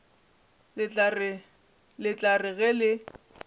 le tla re ge le